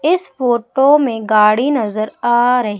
इस फोटो में गाड़ी नजर आ रही--